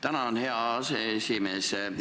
Tänan, hea aseesimees!